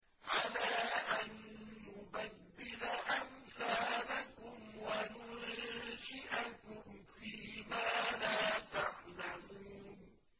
عَلَىٰ أَن نُّبَدِّلَ أَمْثَالَكُمْ وَنُنشِئَكُمْ فِي مَا لَا تَعْلَمُونَ